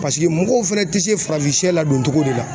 Paseke mɔgɔw fana tɛ se farafin sɛ ladon cogo de la .